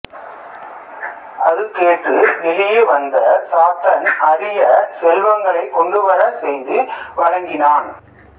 அது கேட்டு வெளியே வந்த சாத்தன் அரிய செல்வங்களைக் கொண்டுவரச் செய்து வழங்கினான்